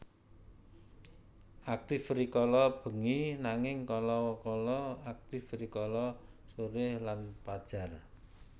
Aktif rikala bengi nanging kala kala aktif rikala sore lan pajar